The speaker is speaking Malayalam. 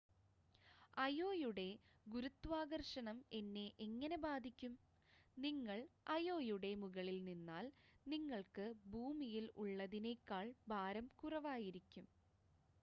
അയോയുടെ ഗുരുത്വാകർഷണം എന്നെ എങ്ങനെ ബാധിക്കും നിങ്ങൾ അയോയുടെ മുകളിൽ നിന്നാൽ നിങ്ങൾക്ക് ഭൂമിയിൽ ഉള്ളതിനേക്കാൾ ഭാരം കുറവായിരിക്കും